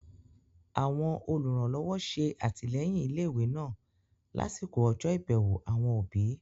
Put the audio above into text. Àwọn olùrànlọ́wọ́ ṣe àtìlẹ́yìn ilé ìwé náà lásìkò ọjọ́ ìbẹ̀wò àwọn òbí